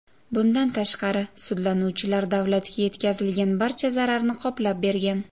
Bundan tashqari, sudlanuvchilar davlatga yetkazilgan barcha zararni qoplab bergan.